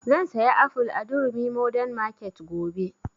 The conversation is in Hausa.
Zan saya aful a durumi modern market gobe